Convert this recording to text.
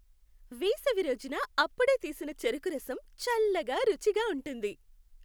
వేసవి రోజున అప్పుడే తీసిన చెరకురసం చల్లగా, రుచిగా ఉంటుంది.